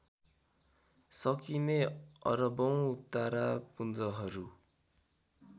सकिने अरबौं तारापुञ्जहरू